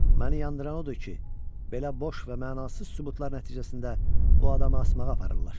Məni yandıran odur ki, belə boş və mənasız sübutlar nəticəsində bu adamı asmağa aparırlar.